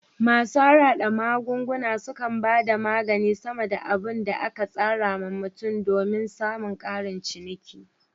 Masu harhada magunguna sukan bada maganin sama da abun da aka casa wa mutum somin samun karin ciniki